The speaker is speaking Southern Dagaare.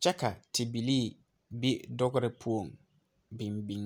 kye ka tibilii be dɔgre puo bin bin.